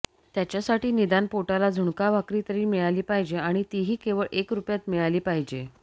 त्याच्यासाठी निदान पोटाला झुणका भाकरी तरी मिळाली पाहिजे आणि तीही केवळ एक रुपयात मिळाली पाहिजे